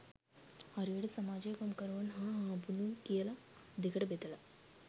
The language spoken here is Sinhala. හරියට සමාජය කම්කරුවන් හා හාම්පුතුන් කියල දෙකට බෙදල